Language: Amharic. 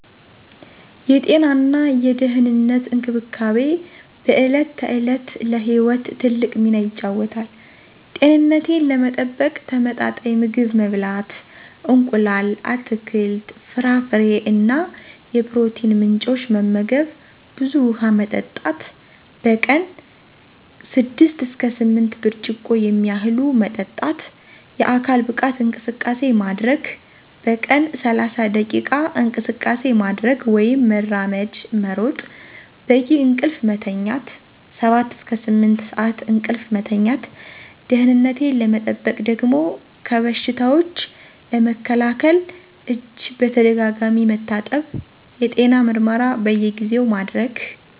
የጤናና የደህንነት እንክብካቤ በዕለት ተዕለት ለሕይወት ትልቅ ሚና ይጫወታል። ጤንነቴን ለመጠበቅ ተመጣጣኝ ምግብ መብላት: እንቁላል፣ አትክልት፣ ፍራፍሬ እና የፕሮቲን ምንጮች መመገብ፣ ብዙ ውሃ መጠጣት: በቀን 6–8 ብርጭቆ የሚያህሉ መጠጣት፣ የአካል ብቃት እንቅስቃሴ ማድረግ: በቀን 30 ደቂቃ እንቅስቃሴ ማድረግ (መራመድ፣ መሮጥ) ፣ በቂ እንቅልፍ መተኛት 7–8 ሰዓት እንቅልፍ መተኛት። ደህነቴን ለመጠበቅ ደሞ ከበሽታዎች ለመከላከል እጅ በተደጋጋሚ መታጠብ፣ የጤና ምርመራ በየጊዜው ማድረግ።